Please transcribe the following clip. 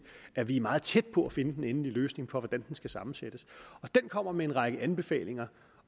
at vi er meget tæt på at finde den endelige løsning på hvordan den skal sammensættes den kommer med en række anbefalinger